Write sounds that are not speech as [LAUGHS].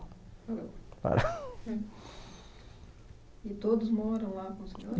[LAUGHS] E todos moram lá com o senhor?